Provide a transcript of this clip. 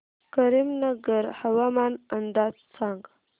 करीमनगर हवामान अंदाज सांग